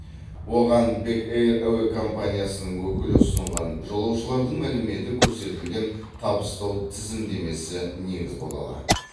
оған бек эйр әуе компаниясының өкілі ұсынған жолаушылардың мәліметі көрсетілген табыстау тізімдемесі негіз бола алады